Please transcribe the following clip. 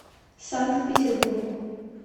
санкт петербургу